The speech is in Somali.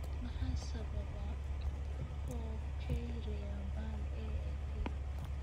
Maxaa sababa porphyria ba'an (AIP)?